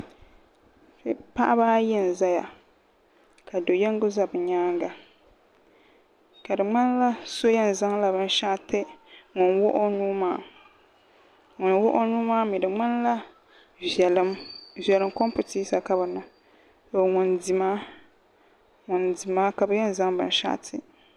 Paɣaba ayi n ʒɛya ka do yinga ʒɛ bi nyaanga ka di ŋmanila so yɛn zaŋla binshaɣu ti ŋun wuɣi o nuu maa ŋun wuɣi o nuu maa mii di ŋmanila viɛlim kompitisa ka bi niŋ ŋun di maa ka bi yɛn zaŋ binshaɣu ti